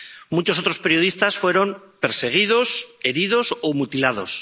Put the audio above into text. Muchos otros periodistas fueron perseguidos, heridos o mutilados.